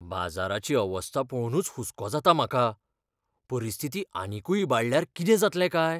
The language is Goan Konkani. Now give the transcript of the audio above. बाजाराची अवस्था पळोवनूच हुस्को जाता म्हाका? परिस्थिती आनीकूय इबाडल्यार कितें जातलें काय?